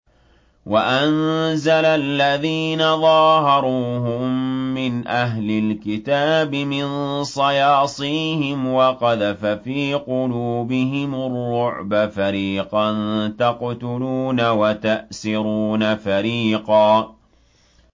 وَأَنزَلَ الَّذِينَ ظَاهَرُوهُم مِّنْ أَهْلِ الْكِتَابِ مِن صَيَاصِيهِمْ وَقَذَفَ فِي قُلُوبِهِمُ الرُّعْبَ فَرِيقًا تَقْتُلُونَ وَتَأْسِرُونَ فَرِيقًا